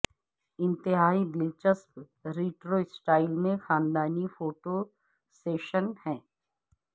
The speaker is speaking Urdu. انتہائی دلچسپ ریٹرو سٹائل میں خاندانی فوٹو سیشن ہے